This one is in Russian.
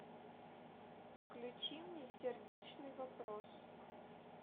включи мне сердечный вопрос